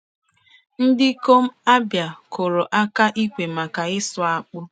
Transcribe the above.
Ndikom Abia kpụrụ aka ikwe maka ịsụ akpụ.